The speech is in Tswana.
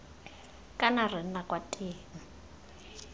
kana re nna kwa teng